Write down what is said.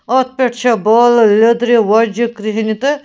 .اَتھ پٮ۪ٹھ چھےٚ بالہٕ لیٚدرِ وۄزجہِ کرٛہنہِ تہٕ